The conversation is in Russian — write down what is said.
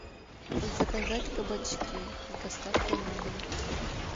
заказать кабачки с доставкой на дом